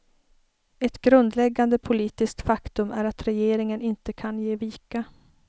Ett grundläggande politiskt faktum är att regeringen inte kan ge vika.